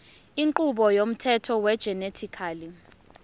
inqubo yomthetho wegenetically